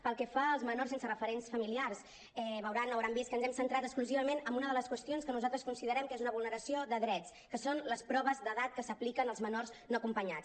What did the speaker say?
pel que fa als menors sense referents familiars veuran o deuen haver vist que ens hem centrat exclusivament en una de les qüestions que nosaltres considerem que és una vulneració de drets que són les proves d’edat que s’apliquen als menors no acompanyats